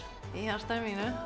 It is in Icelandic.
í hjarta mínu